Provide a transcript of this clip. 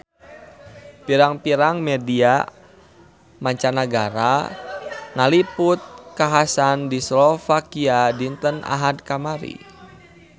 Pirang-pirang media mancanagara ngaliput kakhasan di Slovakia dinten Ahad kamari